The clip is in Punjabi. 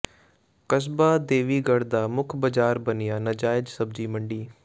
ਕਸਬਾ ਦੇਵੀਗੜ੍ਹ ਦਾ ਮੁੱਖ ਬਾਜ਼ਾਰ ਬਣਿਆ ਨਾਜਾਇਜ਼ ਸਬਜ਼ੀ ਮੰਡੀ